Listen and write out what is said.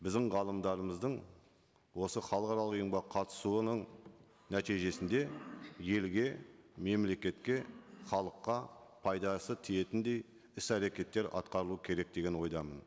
біздің ғалымдарымыздың осы халықаралық ұйымға қатысуының нәтижесінде елге мемлекетке халыққа пайдасы тиетіндей іс әрекеттер атқарылуы керек деген ойдамын